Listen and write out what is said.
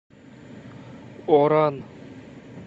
оран